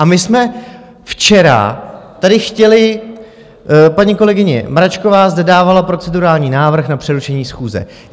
A my jsme včera tady chtěli - paní kolegyně Mračková zde dávala procedurální návrh na přerušení schůze.